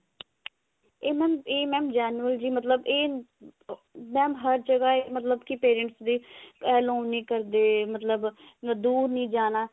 ਇਹ mam ਇਹ mam genuine ਜੀ ਮਤਲਬ ਇਹ ah ਹਰ ਜਗ੍ਹਾ ਇਹ ਮਤਲਬ ਕੀ parents ਦੀ allow ਨੀ ਕਰਦੇ ਮਤਲਬ ਦੁਰ ਨੀ ਜਾਣਾ